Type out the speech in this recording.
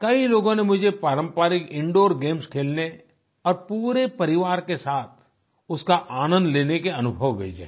कई लोगों ने मुझे पारम्परिक इंदूर गेम्स खेलने और पूरे परिवार के साथ उसका आनंद लेने के अनुभव भेजे हैं